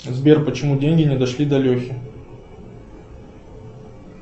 сбер почему деньги не дошли до лехи